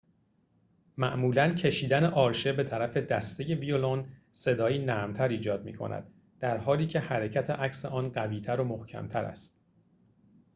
معمولاً کشیدن آرشه به‌طرف دسته ویولون صدایی نرمتر ایجاد می‌کند در‌حالی‌که حرکت عکس آن قوی‌تر و محکم‌تر است